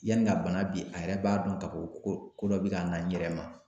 Yani ka bana bi a yɛrɛ b'a da ko ko ko dɔ bi ka na n yɛrɛ ma.